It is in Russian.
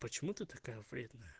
почему ты такая вредная